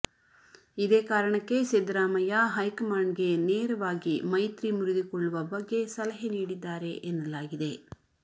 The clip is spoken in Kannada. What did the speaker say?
ಇದೇ ಕಾರಣಕ್ಕೆ ಸಿದ್ದರಾಮಯ್ಯ ಹೈಕಮಾಂಡ್ ಗೆ ನೇರವಾಗಿ ಮೈತ್ರಿ ಮುರಿದುಕೊಳ್ಳುವ ಬಗ್ಗೆ ಸಲಹೆ ನೀಡಿದ್ದಾರೆ ಎನ್ನಲಾಗಿದೆ